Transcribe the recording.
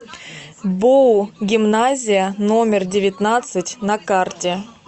боу гимназия номер девятнадцать на карте